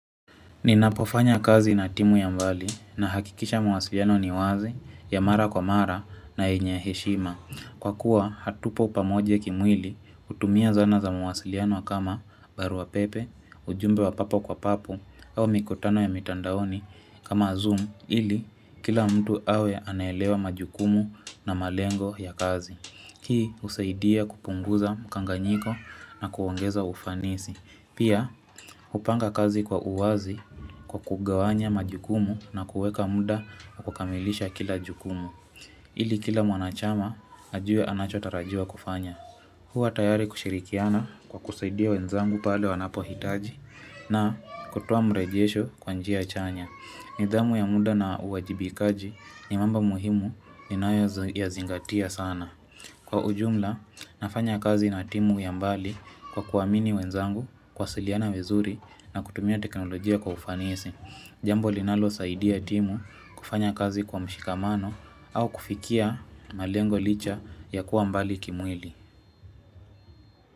Ninapofanya kazi na timu ya mbali nahakikisha mawasiliano ni wazi, ya mara kwa mara na yenye heshima. Kwakuwa hatupo pamoja kimwili, hutumia dhana za mawasiliano kama barua pepe, ujumbe wa papo kwa papo au mikutano ya mitandaoni kama zoom ili kila mtu awe anaelewa majukumu na malengo ya kazi. Hii husaidia kupunguza mkanganyiko na kuongeza ufanisi. Pia, hupanga kazi kwa uwazi kwa kugawanya majukumu na kuweka muda wa kukamilisha kila jukumu. Ili kila mwanachama, ajue anachotarajia kufanya. Huwa tayari kushirikiana kwa kusaidia wenzangu pale wanapohitaji na kutoa mrejesho kwa njia chanya. Nidhamu ya muda na uwajibikaji ni mambo muhimu ninayoyazingatia sana. Kwa ujumla, nafanya kazi na timu ya mbali kwa kuamini wenzangu, kuwasiliana vizuri na kutumia teknolojia kwa ufanisi. Jambo linalosaidia timu kufanya kazi kwa mshikamano au kufikia malengo licha ya kuwa mbali kimwili.